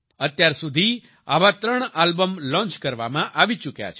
અત્યારસુધી આવા ત્રણ આલ્બમ લોન્ચ કરવામાં આવી ચૂક્યા છે